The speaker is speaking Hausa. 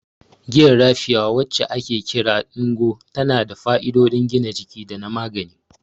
Giyar Raffia, wacce ake kira "Ngwo," tana da fa'idodin gina jiki da na magani.